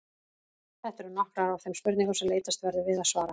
Þetta eru nokkrar af þeim spurningum sem leitast verður við að svara.